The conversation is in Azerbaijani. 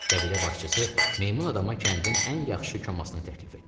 Qəbilə başçısı meymun adama kəndin ən yaxşı komasını təklif etdi.